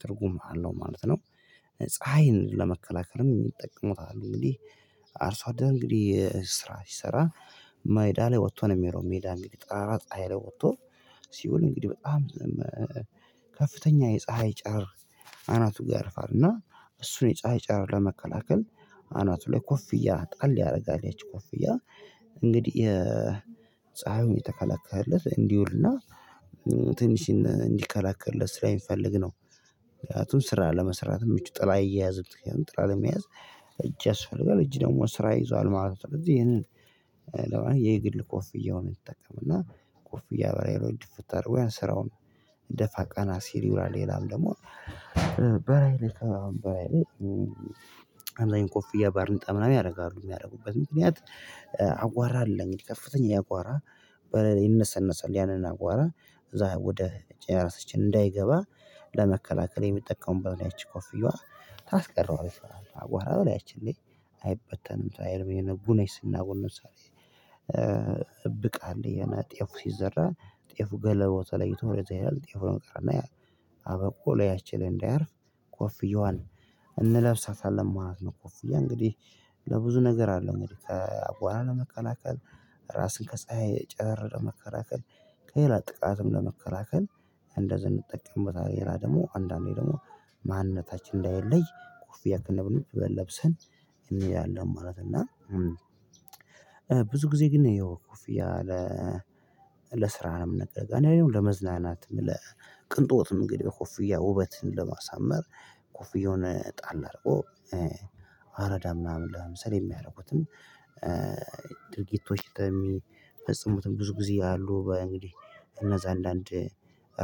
ትርጉም አለው ማለት ነው። ፀሀይን ለመከላከልም ይጠቀሙታል እንግዲህ። አርሶ አደረ እንግዲህ ስራ ሲሰራ ማይዳ ላይ ወጥቶ ነው የሚለው ሜዳ እንግዲህ ጣራ ጣራ ላይ ወጥቶ። ሲውል እንግዲህ በጣም ከፍተኛ የፀሀይ ጨር አናቱ ጋርፋል እና እሱን የፀሀይ ጨረብ ለመከላከል አናቱ ላይ ኮፍያ ጣል ያደርጋል ያቺ ኮፍያ። እንግዲህ የተከላከለት እንዲውልና ትንሽ እንዲከላከልለት ስራ የሚፈልግ ነው። ምክንያቱም ስራ ለመስራት ምቹ ጥላ እየያዘች ጥላ ለመያዝ እጅ ያስፈልጋል እጅ ደግሞ ስራ ይዟል ማለት ነው። ስለዚህ ይሄንን የግል ኮፍያውን ይጠቀም እና ኮፍያ በላይ የሆነ ድፍተር ወይም ስራውን እንደ ፋቀና ሲል ይብራል ይላል ደግሞ። በራይል በራይል አብዛኛው ቆፍያ ባርንጣ ምናምን ያደርጋሉ የሚያደርጉበት ምክንያት። አቧራ አለኝ ከፍተኛ ያቧራ በለሌ ይነሰነሳል ያንን አቧራ እዛ ወደ ራሳችን እንዳይገባ ለመከላከል የሚጠቀሙበት እኔ አች ኮፍየዋ። ታስቀረዋለህ አቧራ እኔ አች እንዴ አይበተንም ታየርም የነጉ ነሽ ስናውር ለምሳሌ። እብቃ እንደየና ጤፉ ሲዘራ ጤፉ ገለሎ ተለይቶ ለዚህ ይላል ጤፉ ነገር እና አበቆ ላይ ያቺን እንዳያርፍ ኮፍየዋል እንለብሳታለን ማለት ነው። እኮ እንግዲህ ለብዙ ነገር አለው። እንግዲህ ከአቧራ ለመከላከል ራስን ከፀሀይ ጨረር መከላከል ከሌላ ጥቃትም ለመከላከል እንደ ዘንድ ጠቀምበት ሌላ ደግሞ አንዳንዴ ደግሞ ማንነታችን እንዳይለይ ኮፍያ ብዬ አትነብኑም ለብሰን የሚል አለን ማለት እና። ብዙ ጊዜ ግን ያው ኮፍያ ለ ለስራ ነው የምነግርህ። እኔ አሁን ለመዝናናት ምለ ቅንጦትም እንግዲህ ኮፍያ ውበትን ለማሳመር ኮፍያውን ጣል አድርጎ አረዳ ምናምን ለምሳሌ የሚያደርጉትም። ድርጊቶች በሚፈጽሙትም ብዙ ጊዜ አሉ እንግዲህ እነዛ አንዳንድ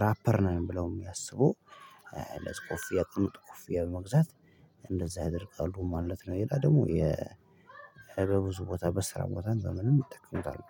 ራፐር ነው የምለው የሚያስበው። የጥምጥም መግዛት እንደዛ ያደርጋሉ ማለት ነው። ይላል ደግሞ የበብዙ ቦታ በስራ ቦታ ዘመንም ይጠቀሙታል